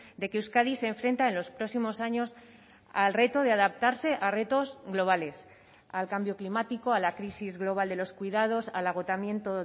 de que euskadi se enfrenta en los próximos años al reto de adaptarse a retos globales al cambio climático a la crisis global de los cuidados al agotamiento